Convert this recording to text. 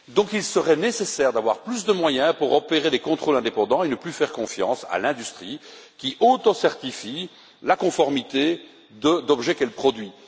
Il serait donc nécessaire d'avoir plus de moyens pour opérer des contrôles indépendants et d'arrêter de faire confiance à l'industrie, qui autocertifie la conformité d'objets qu'elle produit.